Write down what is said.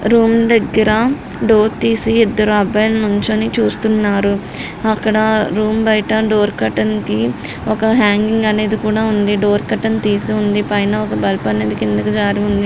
Room దగ్గర door తీసి ఇద్దరు అబ్బాయిలు నించుని చూస్తున్నారు. అక్కడ రూమ్ బయట డోర్ కట్టన్ కి ఒక హ్యాంగింగ్ అనేది కూడా ఉంది డోర్ కట్టను తీసి ఉంది పైన ఒక బల్బ్ అనేది కిందికి జారి ఉంది.